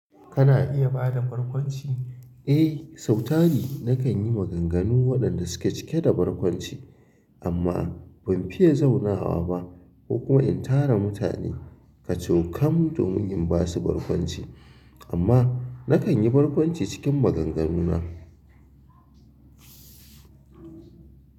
Kana iya ba da barkwanci? Eh, sauti na kan yi maganganu waɗanda suke cike da barkwanci, amma ban fiye zaunawa ba ko kuma in tara mutane kacokan domin in ba su barkwanci. Amma na kan yi barkwanci cikin maganganuna.